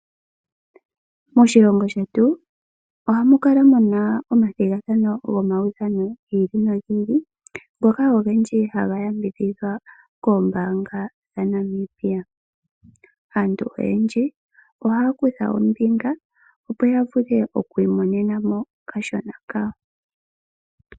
Moshilongo shetu ohamu kala omathigathano gomaudhano gi ili nogi ili ngoka ogendji haga yambidhihwa koombaanga dhaNamibia. Aantu oyendji ohaya kutha ombinga, opo ya vule okwiimonena mo okashona kawo.